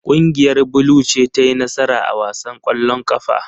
Kungiyar blue ce ta yi nasara a wasan kwallon kafa.